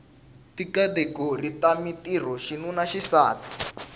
tikhategori ta mintirho xinuna xisati